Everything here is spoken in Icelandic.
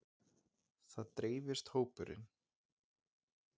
Svo dreifist hópurinn.